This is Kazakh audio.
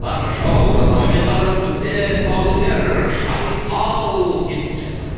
таңғы шоу олжас абаймен қазір бізде тұсаукесер шайқал кеттік шайқалайық